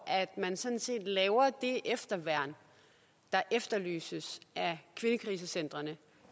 man sådan set laver det efterværn der efterlyses af kvindekrisecentrene